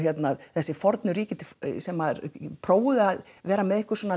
þessi fornu ríki sem maður prófuðu að vera með einhverskonar